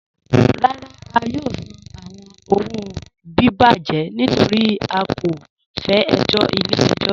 Rárá, à yóò sàn àwọn owo bíbàjẹ̀ nítorí à kò fẹ ẹ̀jọ̀ ilẹ̀-ẹ̀jọ̀.